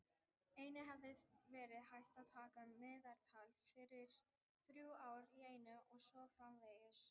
Einnig hefði verið hægt að taka meðaltal fyrir þrjú ár í einu og svo framvegis.